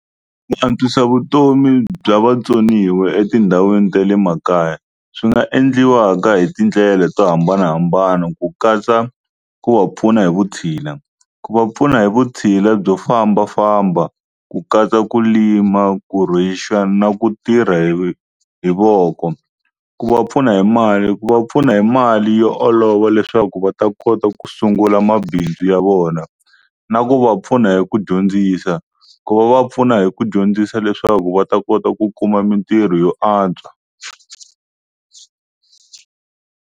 Ku antswisa vutomi bya vatsoniwa etindhawini ta le makaya swi nga endliwaka hi tindlela to hambanahambana ku katsa ku va pfuna hi vutshila ku va pfuna hi vutshila byo fambafamba ku katsa ku lima na ku tirha hi voko ku va pfuna hi mali ku va pfuna hi mali yo olova leswaku va ta kota ku sungula mabindzu ya vona na ku va pfuna hi ku dyondzisa ku va va pfuna hi ku dyondzisa leswaku va ta kota ku kuma mintirho yo antswa.